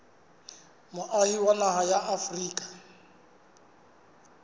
moahi wa naha ya afrika